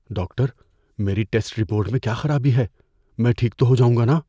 Doctor, میری test report میں کیا خرابی ہے؟ میں ٹھیک تو ہو جاؤں گا ناں؟